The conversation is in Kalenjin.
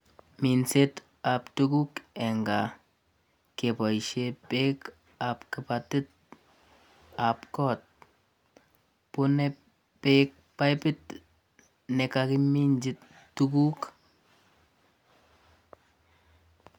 Minsetab tuguk eng gaa keboisien beekab kibatitab goot, bunei beek paipit ne kakiminji tuguk.